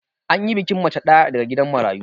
Anyi bikin mace ɗaya daga gidan marayu